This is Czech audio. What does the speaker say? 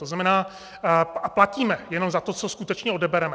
To znamená... a platíme jenom za to, co skutečně odebereme.